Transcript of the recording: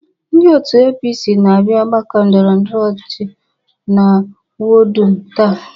Ndi òtù APC na-abia ọgbakọ ndọrọndọrọ ọchịchị na wọdụ m taa.